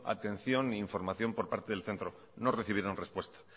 atención ni información por parte del centro no recibieron respuesta